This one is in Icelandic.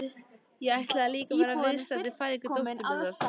Ég ætlaði líka að vera viðstaddur fæðingu dóttur minnar.